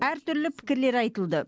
әртүрлі пікірлер айтылды